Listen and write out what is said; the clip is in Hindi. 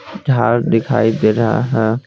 झाड़ दिखाई दे रहा है।